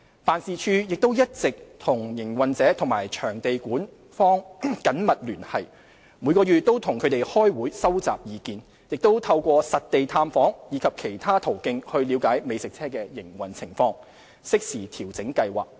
辦事處亦一直與營運者及場地管方緊密聯繫，每月與他們開會收集意見，亦透過實地探訪及其他途徑了解美食車的營運情況，適時調整計劃。